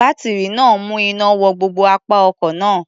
Bátírí náà ń mú iná wọ gbogbo apá ọkọ̀ náà.